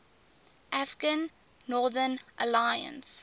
afghan northern alliance